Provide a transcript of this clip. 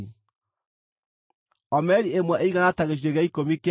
(Omeri ĩmwe ĩigana ta gĩcunjĩ gĩa ikũmi kĩa eba ĩmwe.)